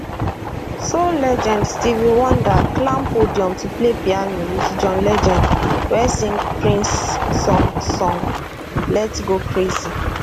soul legend stevie wonder climb podium to play piano wit john legend wey sing prince song song lets go crazy